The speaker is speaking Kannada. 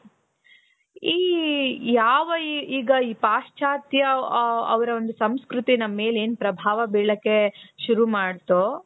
ಈ ಯಾವ ಈಗ ಈ ಪಾಶ್ಚಾತ್ಯ ಅ ಅವರ ಒಂದು ಸಂಸ್ಕೃತಿ ನನ್ ಮೇಲೆ ಏನ್ ಪ್ರಭಾವ ಬೀಳಕ್ಕೆ ಶುರು ಮಾಡ್ತೊ